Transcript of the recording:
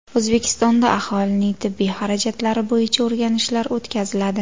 O‘zbekistonda aholining tibbiy xarajatlari bo‘yicha o‘rganishlar o‘tkaziladi.